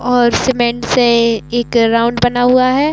और सीमेंट से एक राउंड बना हुआ है।